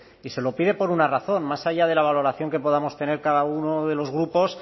y se lo pide por una razón más allá de la valoración que podamos tener cada uno de los grupos